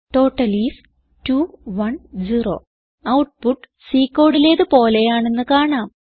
total is 210 output C കോഡിലേത് പോലെയാണെന്ന് കാണാം